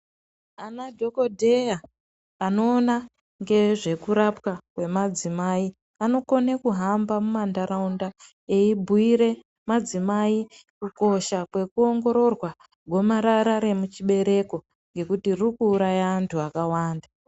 Ana dhokodheya anoona ngezvekurapwa kwemadzimai anokone kuhamba mumantaraunda eibhuire madzimai kukosha kwekuongororwa gomarara remuchibereko ngekuti ririkuuraya akawanda.